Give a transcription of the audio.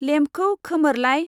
लेम्पखौ खोमोर लाय।